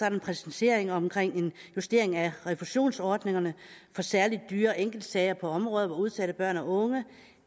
en præcisering omkring en justering af refusionsordningerne for særlig dyre enkeltsager på området for udsatte børn og unge